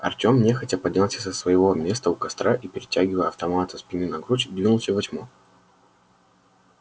артём нехотя поднялся со своего места у костра и перетягивая автомат со спины на грудь двинулся во тьму